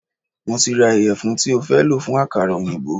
Mo ti ra ìyẹ̀fun tí o fẹ́ lò fún àkàrà oyinbo.